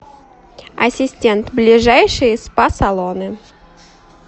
ассистент ближайшие спа салоны